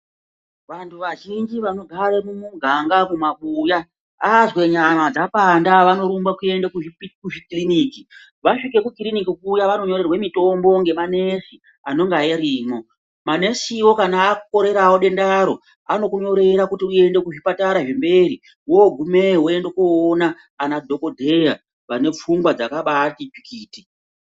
Vantu vazhinji vanogara mumuganga mumabuya azwa nyama dzapanda vanorumba kuchikiriniki. Vasvika kuchikiriniki kuya vanonyorerwe mitombo ngemanesi anenge arimwo. Manesiwo kana akorerawo dendaro vanokunyorera kuti uende kuzvipatara zvemberi wogumeyo woende koona anadhokodheya vane fungwa dzakambaati tsvikiti.